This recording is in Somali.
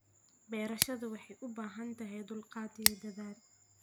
Beerashadu waxay u baahan tahay dulqaad iyo dadaal.